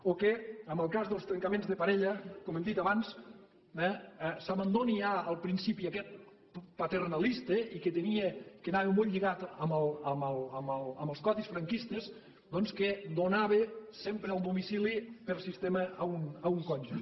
o que en el cas dels trencaments de parella com hem dit abans eh s’abandoni ja el principi aquest paternalista i que anava molt lligat amb els codis franquistes doncs que donava sempre el domicili per sistema a un cònjuge